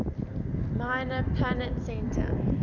minor planet center